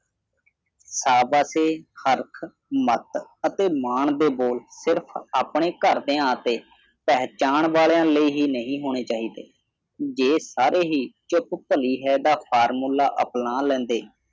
ਸ਼ਾਬਾਸ਼ ਸ਼ੇ ਹਰਫ਼ ਮੱਤ ਅਤੇ ਮਾਣ ਦੇ ਬੋਲ ਸਿਰਫ਼ ਆਪਣੇ ਘਰਦਿਆਂ ਅਤੇ ਪਹਿਚਾਣ ਵਾਲਿਆਂ ਲਈ ਦੇ ਨਹੀਂ ਹੋਣੇ ਚਾਹੀਦੇ ਜੇ ਸਾਰੇ ਹੀ ਚੁੱਪ ਭਲੀ ਹੈ ਦਾ formula ਅਪਣਾ ਲੈਂਦੇ